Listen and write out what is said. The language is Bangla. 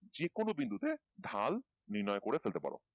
যে কোনো বিন্দুতে ঢাল নির্ণয় করে ফেলতে পারো